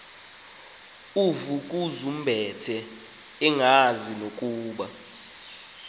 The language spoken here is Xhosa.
uvukuzumbethe engazi nokuba